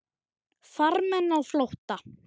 Farmenn á flótta